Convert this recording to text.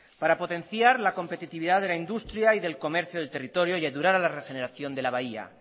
para potenciar la competitividad de la industria y del comercio del territorio y ayudar a la regeneración de la bahía